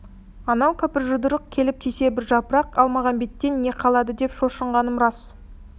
анау кәпір жұдырық келіп тисе бір жапырақ әлмағамбеттен не қалады деп шошынғаным рас